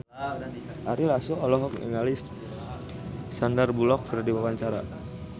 Ari Lasso olohok ningali Sandar Bullock keur diwawancara